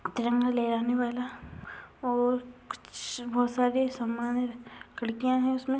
तिरंगा लहराने वाला और कुछ बोहोत सारे सामान खिड़कियाँ हैं उसमें।